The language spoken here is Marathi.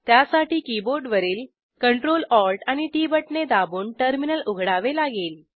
त्यासाठी कीबोर्डवरील CTRL ALT आणि टीटी बटणे दाबून टर्मिनल उघडावे लागेल